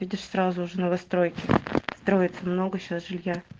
видишь сразу же новостройки строится много сейчас жилья